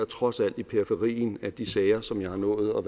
trods alt i periferien af de sager som jeg har nået at